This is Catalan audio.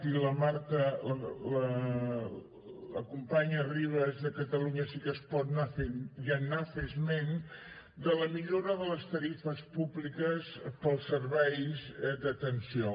i la marta la companya ribas de catalunya sí que es pot ja n’ha fet esment de la millora de les tarifes públiques per als serveis d’atenció